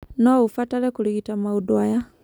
No ũbatare kũrigita maũndu aya.